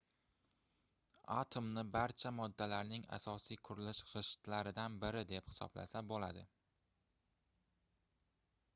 atomni barcha moddalarning asosiy qurilish gʻishtlaridan biri deb hisoblasa boʻladi